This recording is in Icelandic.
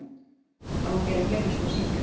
Á að gera fleiri svona sýningar?